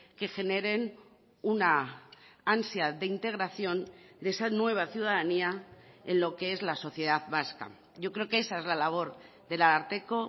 que generen una ansia de integración de esa nueva ciudadanía en lo que es la sociedad vasca yo creo que esa es la labor del ararteko